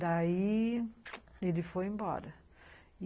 Daí, ele foi embora.